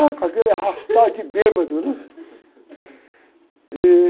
Já com aquele arrastar de bêbado, né? Ih...